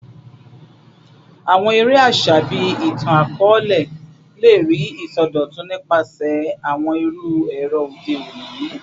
Awọn ere aṣa bii itan-akọọlẹ le rii isọdọtun nipasẹ awọn iru ẹrọ ode oni